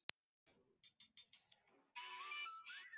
Hann kemur ekki, sagði móðir hennar.